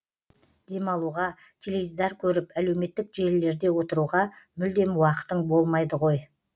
демалуға теледидар көріп әлеуметтік желілерде отыруға мүлдем уақытың болмайды ғой